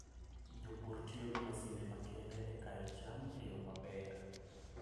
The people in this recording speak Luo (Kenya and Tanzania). Jopur tiyo gi masinde makende e kayo cham e yo maber.